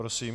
Prosím.